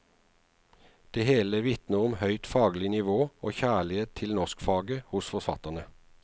Det hele vitner om høyt faglig nivå og kjærlighet til norskfaget hos forfatterne.